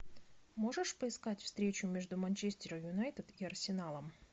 можешь поискать встречу между манчестером юнайтед и арсеналом